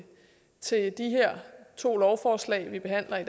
to lovforslag vi behandler i